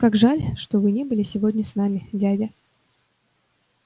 как жаль что вы не были сегодня с нами дядя